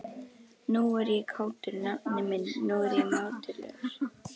Nú er ég kátur, nafni minn, nú er ég mátulegur.